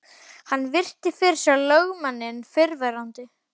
Hann virti fyrir sér lögmanninn fyrrverandi.